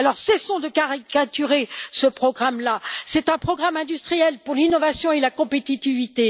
Alors cessons de caricaturer ce programme, c'est un programme industriel pour l'innovation et la compétitivité.